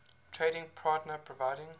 trading partner providing